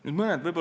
Nüüd mõned faktid.